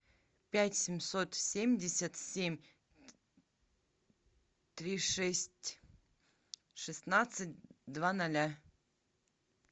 пять семьсот семьдесят семь три шесть шестнадцать два ноля